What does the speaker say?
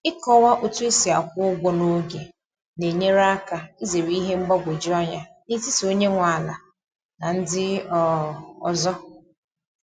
Ịkọwa otu esi akwụ ụgwọ n'oge na-enyere aka izere ihe mgbagwoju anya n’etiti onye nwe ala na ndị um ọzọ